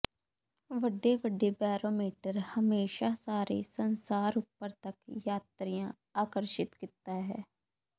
ਵੱਡੇ ਵੱਡੇ ਬੌਰੋਮੀਟਰ ਹਮੇਸ਼ਾ ਸਾਰੇ ਸੰਸਾਰ ਉਪਰ ਤੱਕ ਯਾਤਰੀਆ ਆਕਰਸ਼ਿਤ ਕੀਤਾ ਹੈ